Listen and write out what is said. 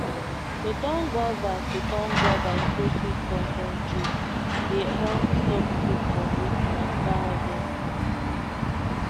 to turn guava to turn guava into sweet concentrate dey help stop fruit from wasting after harvest